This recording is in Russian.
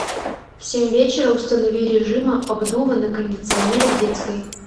в семь вечера установи режима обдува на кондиционере в детской